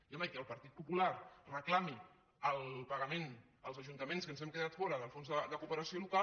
i home que el partit popular reclami el pagament als ajuntaments que ens hem quedat fora del fons de cooperació local